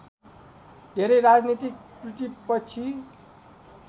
धेरै राजनैतिक प्रतिपक्षी